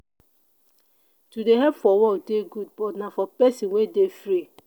to dey help for work dey good but na for pesin wey dey free.